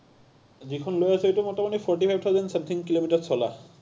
যিখন লৈ আছো, সেইটো মোটামুটি forty five thousand something kilometer চলা।